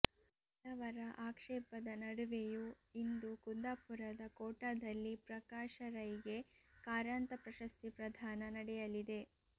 ಹಲವರ ಆಕ್ಷೇಪದ ನಡುವೆಯೂ ಇಂದು ಕುಂದಾಪುರದ ಕೋಟದಲ್ಲಿ ಪ್ರಕಾಶ ರೈಗೆ ಕಾರಂತ ಪ್ರಶಸ್ತಿ ಪ್ರದಾನ ನಡೆಯಲಿದೆ